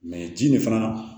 ji nin fana